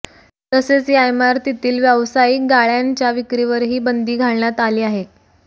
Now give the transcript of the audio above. तसेच या इमारतीतील व्यावसायिक गाळ्यांच्या विक्रीवरही बंदी घालण्यात आली आहे